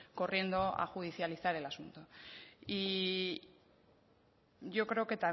corriendo a judicializar el asunto y yo creo que